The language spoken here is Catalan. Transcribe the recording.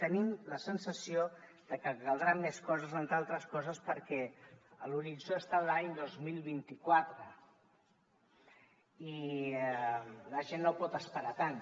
tenim la sensació de que caldran més coses entre altres coses perquè l’horitzó està a l’any dos mil vint quatre i la gent no pot esperar tant